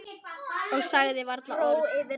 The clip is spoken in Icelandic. Og sagði varla orð.